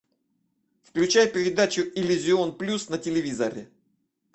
включай передачу иллюзион плюс на телевизоре